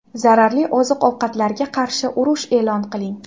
Zararli oziq-ovqatlarga qarshi urush e’lon qiling!